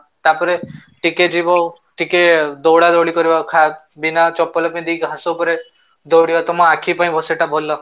ତାପରେ ଟିକେ ଯିବ ଟିକେ ଦୌଡ଼ାଦୌଡ଼ି କରିବ ଖା ବିନା ଚପଲ ପିନ୍ଧି କି ଘାସ ଉପରେ ଦୌଡିବ ତମ ଆଖି ପାଇଁ ସେଟା ଭଲ